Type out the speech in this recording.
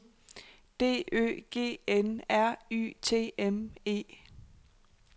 D Ø G N R Y T M E